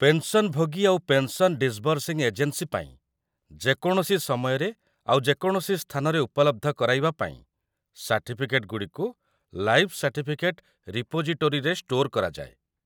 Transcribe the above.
ପେନ୍‌ସନ୍‌ଭୋଗୀ ଆଉ 'pension disbursing agency' ପାଇଁ ଯେକୌଣସି ସମୟରେ ଆଉ ଯେକୌଣସି ସ୍ଥାନରେ ଉପଲବ୍ଧ କରାଇବା ପାଇଁ ସାର୍ଟିଫିକେଟ୍‌ଗୁଡ଼ିକୁ 'ଲାଇଫ୍ ସାର୍ଟିଫିକେଟ୍ ରିପୋଜିଟୋରୀ'ରେ ଷ୍ଟୋର୍‌ କରାଯାଏ ।